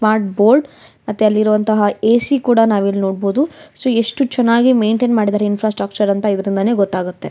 Smart board ಮತ್ತೆ ಅಲ್ಲಿ ಇರುವಂತಹ ಎ_ ಸಿ ಕೂಡ ನಾವು ಇಲ್ ನೋಡಬೋದು ಎಷ್ಟು ಚನ್ನಾಗಿ ಮೇಂಟೈನ್ ಮಾಡಿದಾರೆ ಇಂಫ್ರಾಸ್ಟ್ರುಕ್ಚರ್ ಅಂತ ಇದ್ರಿಂದಾನೆ ಗೊತ್ತಾಗತ್ತೆ.